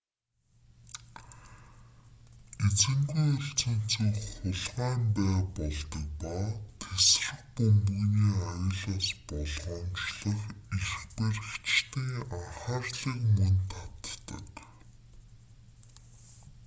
эзэнгүй үлдсэн цүнх хулгайн бай болдог ба тэсрэх бөмбөгний аюулаас болгоомжлох эрх баригчдын анхаарлыг мөн татдаг